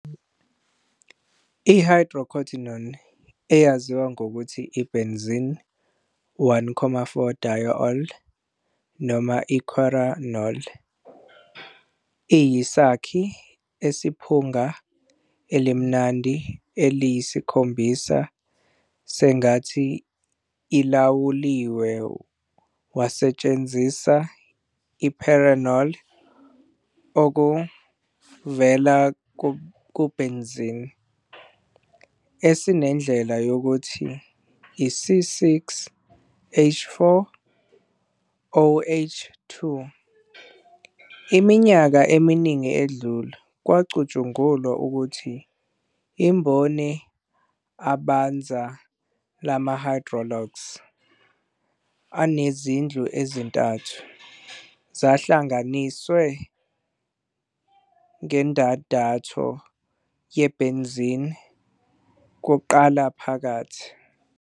I-Hydroquinone, eyaziwa ngokuthi i-benzene-1,4-diol, noma i-quinol, iyisakhi esiphunga elimnandi eliyisikhombisa sengathi ilawuliwe wasebenzisa i-phenerol, okuvela kubenzine, esinendlela yokuthi i-C6H4OH2. Iminyaka eminingi edlule, kwakucatshangelwa ukuthi imboni abanzi lama-hydroxyl enezindlu ezithathu zahlanganiswe ngendandatho ye-benzene kuqala phakathi.